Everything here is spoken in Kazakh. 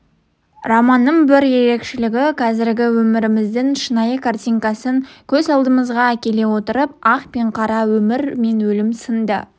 романның бір ерекшелігі қазіргі өміріміздің шынайы картинасын көз алдымызға әкеле отырып ақ пен қара өмір мен өлім сынды